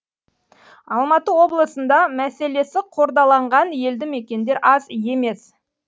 алматы облысында мәселесі қордаланған елді мекендер аз емес